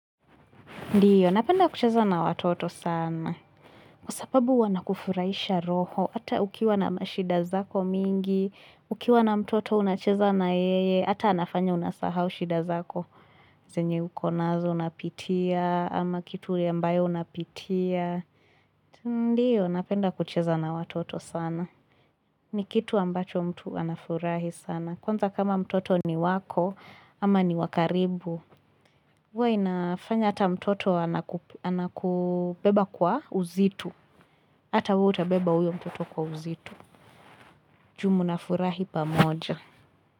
Ndiyo, napenda kucheza na watoto sana. Kwa sababu wana kufurahisha roho, ata ukiwa na mashida zako mingi, ukiwa na mtoto unacheza na yeye, ata anafanya unasahau shida zako. Zenye ukonazo unapitia, ama kitu ya mbayo unapitia. Ndiyo, napenda kucheza na watoto sana. Ni kitu ambacho mtu anafurahi sana. Kwanza kama mtoto ni wako, ama ni wakaribu. Huwe inafanya hata mtoto anakubeba kwa uzito. Hata wewe utabeba huyo mtoto kwa uzito. Juu mnafurahi pamoja.